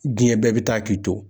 Diɲɛ bɛɛ bɛ taa k'i to